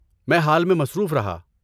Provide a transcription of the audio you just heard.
میں حال میں مصروف رہا۔